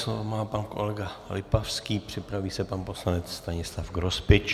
Slovo má pan kolega Lipavský, připraví se pan poslanec Stanislav Grospič.